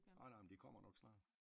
Nej nej men de kommer nok snart